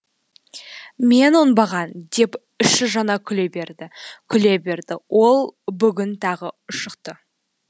мен оңбаған деп іші жана күле берді күле берді ол бүгін тағы ұшықты